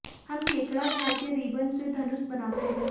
हम केकड़ा छड़ के रिबन से धनुष बनाते हैं